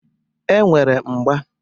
E nwere mgba.